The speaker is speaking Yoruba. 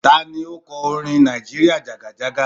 Tá ni ó kọ orin "Nàìjíríà jàgàjágá..."?